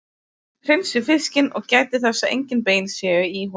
Hreinsið fiskinn og gætið þess að engin bein séu í honum.